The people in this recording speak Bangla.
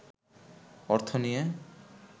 অর্থ নিয়ে